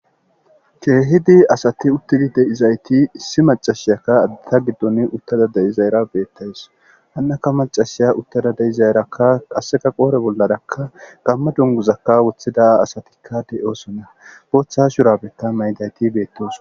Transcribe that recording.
keehidi asati uttidi deizayti issi macashiyakka ta giddon uttada de7izayra beettays hannaka macashiya uttada deizayraka qasseka qoore bollarakka gamma dunguzakka woththida asatikka de7osona booththa shurabeta mayidayti beettosona